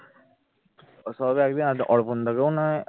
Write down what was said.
অর্পণ দা কেউ না হয়